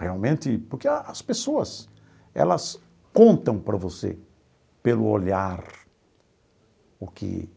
Realmente, porque as pessoas, elas contam para você pelo olhar, o que